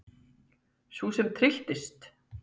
Sú sem trylltist!